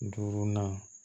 Duurunan